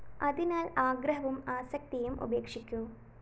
അതിനാല്‍ ആഗ്രഹവും ആസക്തിയും ഉപേക്ഷിക്കൂ